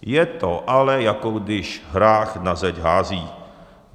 Je to ale, jako když hrách na zeď hází.